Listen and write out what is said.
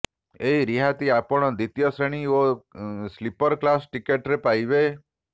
ଏହି ରିହାତି ଆପଣ ଦ୍ୱିତୀୟ ଶ୍ରେଣୀ ଓ ସ୍ଳିପର କ୍ଳାସ ଟିକେଟରେ ପାଇପାରିବେ